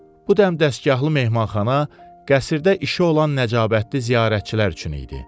Bu dəmdəstgahlı mehmanxana qəsrdə işi olan nəcabətli ziyarətçilər üçün idi.